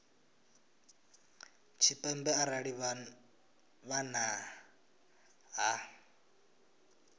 tshipembe arali vha nnḓa ha